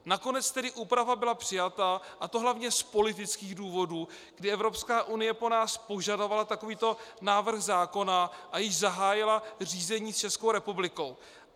Nakonec tedy úprava byla přijata, a to hlavně z politických důvodů, kdy Evropská unie po nás požadovala takovýto návrh zákona a již zahájila řízení s Českou republikou.